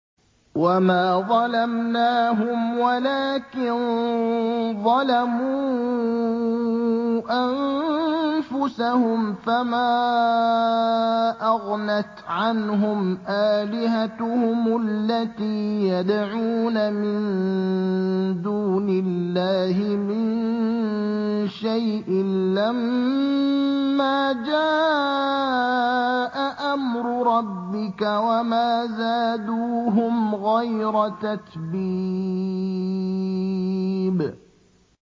وَمَا ظَلَمْنَاهُمْ وَلَٰكِن ظَلَمُوا أَنفُسَهُمْ ۖ فَمَا أَغْنَتْ عَنْهُمْ آلِهَتُهُمُ الَّتِي يَدْعُونَ مِن دُونِ اللَّهِ مِن شَيْءٍ لَّمَّا جَاءَ أَمْرُ رَبِّكَ ۖ وَمَا زَادُوهُمْ غَيْرَ تَتْبِيبٍ